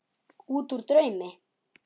Útúr draumi.